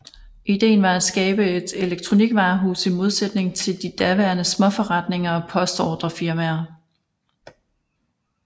Idéen var et skabe et elekronikvarehus i modsætning til de daværende småforretninger og postordrefirmaer